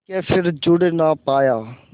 के फिर जुड़ ना पाया